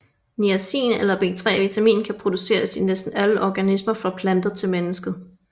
Niacin eller B3vitamin kan produceres i næsten alle organismer fra planter til mennesket